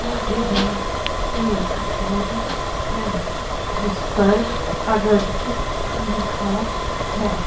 आगे भी एक बोर्ड है जिस पर अधट्ट लिखा है।